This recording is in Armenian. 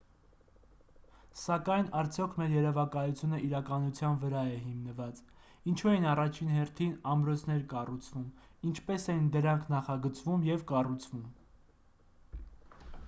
սակայն արդյոք մեր երևակայությունը իրականության վրա է հիմնված է ինչու էին առաջին հերթին ամրոցներ կառուցվում ինչպես էին դրանք նախագծվում և կառուցվում